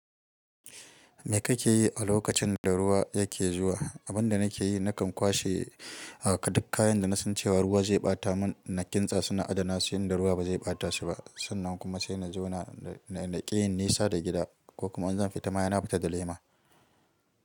Me kake yi a lokacin da ruwa yake zuwa? Abin da nake yi, nakan kwashe, ah, duk kayan da na san cewa ruwa zai ɓata mun na kintsa suna adana su in da ruwa ba zai ɓata su ba. Sannan kuma sai na jona, na ƙi yin nisa da gida ko kuma in zan fita, sai na fita da lema.